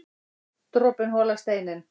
Dropinn holar steininn